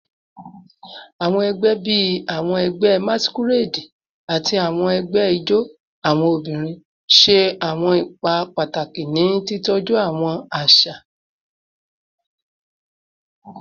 Awọn ẹgbẹ bii awọn ẹgbẹ masquerade ati awọn ẹgbẹ ijó awọn obinrin ṣe awọn ipa pataki ni titọju awọn aṣa aṣa